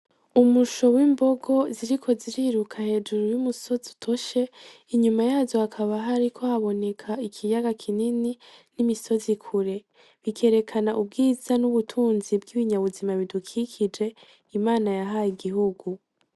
Umusho w'imbogo ziriko ziriruka hejuru y'umusozi utoshe, inyuma yazo hakaba hariko haboneka ikiyaga kinini n'imisozi kure, bikerekana ubwiza n'ubutunzi bw'ibinyabuzima bidukikije Imana yahaye igihugu.